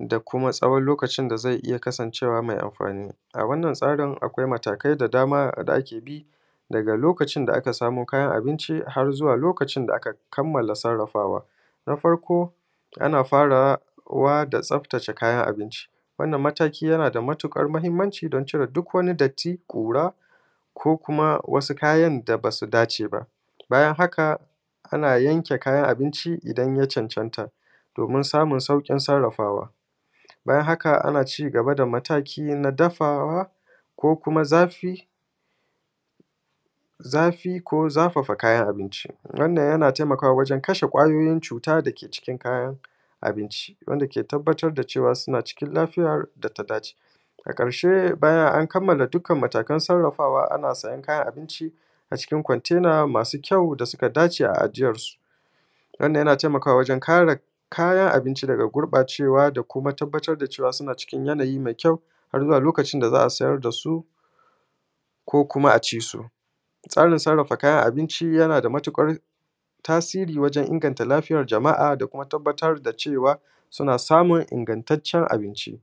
da kuma tsawon lokacin da zai iya kasancewa mai amfani. A wannan tsarin akwai matakai da dama da ake bi daga lokacin da aka samo kayan abinci har zuwa lokacin da aka kammala sarafawa. Na farko, ana farawa da tsaftace kayan abinci wannan mataki yana da matuƙar muhimci, don cire duk wani datti, ƙura, ko kuma wasu kayan da ba su dace ba. Bayan haka, ana yanke kayan abinci idan ya cancanta domin samun sauƙin sarafawa. bayan haka, ana ci gaba da mataki na dafawa, ko kuma zafi-zafi, ko zafafa kayan abinci. wannan yana taimakawa wajen kashe ƙwayoyin cuta da ke cikin kayan abinci, wanda ke tabattar da cewa suna cikin lafiya da ta dace. a ƙarshe, bayan an kammala duk matakan sarafawa, ana saya kayan abinci a cikin ƙwantena masu ƙyau da su kama dace, a ajiyarsu. Wannan yana taimakawa wajen kare kayan abinci daga gurbacewa, da kuma tabattar da cewa suna cikin yanayi mai ƙyau har zuwa lokacin da za a sayar da su, ko kuma a ci su. tsarin sarafa kayan abinci yana da matuƙar tasiri wajen inganta lafiyar jama’a, da kuma tabattar da cewa suna samun inganttacen abinci.